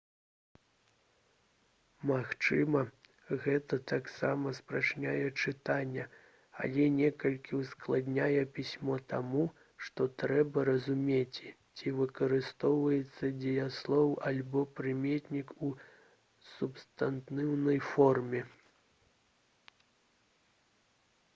магчыма гэта таксама спрашчае чытанне але некалькі ўскладняе пісьмо таму што трэба разумець ці выкарыстоўваецца дзеяслоў альбо прыметнік у субстантыўнай форме